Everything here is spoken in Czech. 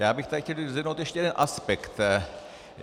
Já bych tady chtěl vyzvednou ještě jeden aspekt.